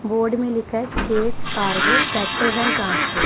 Board में लिखा state cargo packers and transport.